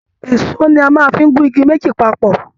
Èsó ní a fí máa n mú igi méjì papọ.